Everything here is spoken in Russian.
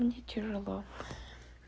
мне тяжело